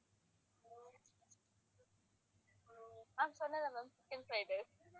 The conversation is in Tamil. ஆஹ் சொன்னேன்ல ma'am chicken fried rice